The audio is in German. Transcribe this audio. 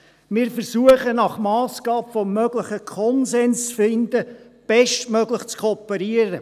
Wir versuchen, nach Massgabe des Möglichen einen Konsens zu finden, bestmöglich zu kooperieren.